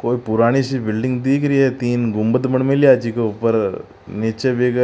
कोई पुरानी सी बिल्डिंग दिख रही है तीन गुमंद बन मेला है जी के ऊपर नीच बिक